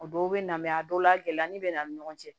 A dɔw bɛ na mɛ a dɔw la gɛlɛya ni bɛ na ni ɲɔgɔn cɛ